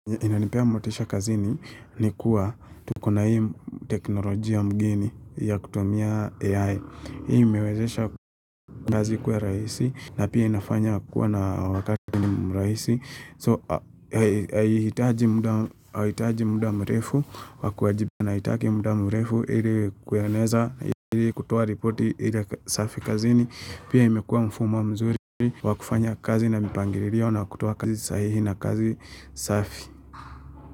Inanipea motisha kazini ni kuwa tukona hii teknolojia mgeni ya kutumia A.I. Hii mewezesha kazi kuwa rahisi na pia inafanya kuwa na wakati mrahisi So haiitaji muda mrefu wa kuwajiba na haitaki muda mrefu ili kueneza ili kutoa ripoti ile safi kazini Pia imekuwa mfumo mzuri wa kufanya kazi na mipangiririo na kutoa kazi sahihi na kazi safi.